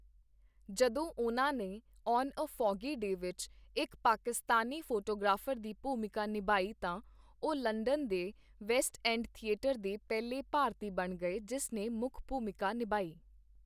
ਜਦੋਂ ਉਨ੍ਹਾਂ ਨੇ 'ਆਨ ਏ ਫੌਗੀ ਡੇ' ਵਿੱਚ ਇੱਕ ਪਾਕਿਸਤਾਨੀ ਫੋਟੋਗ੍ਰਾਫਰ ਦੀ ਭੂਮਿਕਾ ਨਿਭਾਈ ਤਾਂ ਉਹ ਲੰਡਨ ਦੇ ਵੈਸਟ ਐਂਡ ਥੀਏਟਰ ਦੇ ਪਹਿਲੇ ਭਾਰਤੀ ਬਣ ਗਏ ਜਿਸ ਨੇ ਮੁੱਖ ਭੂਮਿਕਾ ਨਿਭਾਈ